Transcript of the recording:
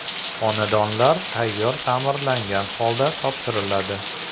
Xonadonlar tayyor ta’mirlangan holda topshiriladi.